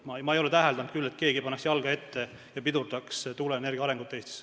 Ma ei ole küll täheldanud, et keegi paneks jalga ette ja pidurdaks tuuleenergia arengut Eestis.